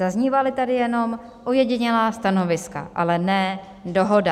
Zaznívala tady jenom ojedinělá stanoviska, ale ne dohoda.